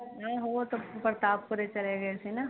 ਨਹੀਂ ਉਹ ਤਾ ਬਰਤਾਬਪੂਰੇ ਚਲੇ ਗਏ ਸੀ ਨਾ